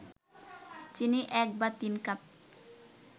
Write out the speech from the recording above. চিনি ১/৩ কাপ